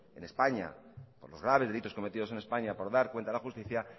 en españa por los graves delitos cometidos en españa por dar cuenta a la justicia